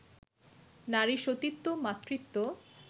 নারীর সতীত্ব, মাতৃত্ব